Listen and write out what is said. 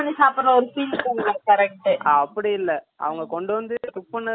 அப்படி இல்லை அவங்க கொண்டுனு வந்து cook பண்ணத தான் கொண்டு வந்து அது மேல வைப்பாங்க அது veg ஆவே இருக்கும்